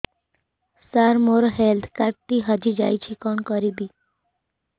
ସାର ମୋର health card ଟି ହଜି ଯାଇଛି କଣ କରିବି